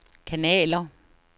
kanaler